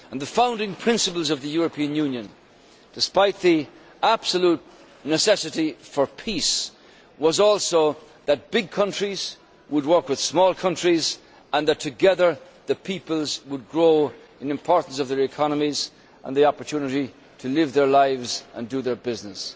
The founding principle of the European Union despite the absolute necessity for peace was also that big countries would work with small countries and that together the peoples would grow in importance of their economies and the opportunity to live their lives and do their business.